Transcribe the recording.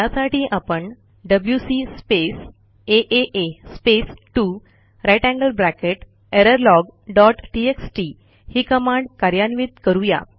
त्यासाठी आपणwc स्पेस आ space 2 greater than sign errorlog dot TXT ही कमांड कार्यान्वित करू या